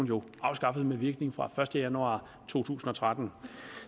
jo afskaffet med virkning fra den første januar to tusind og tretten